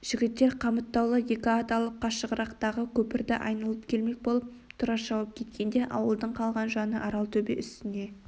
жігіттер қамыттаулы екі ат алып қашығырақтағы көпірді айналып келмек болып тұра шауып кеткенде ауылдың қалған жаны аралтөбе үстіне